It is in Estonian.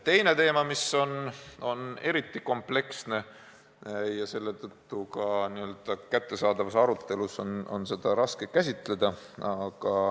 Teine teema on eriti kompleksne ja seetõttu on seda kättesaadavuse arutelus raske käsitleda.